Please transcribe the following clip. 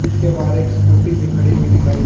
इसके बाहर एक स्कूटी भी खड़ी हुई दिखाई--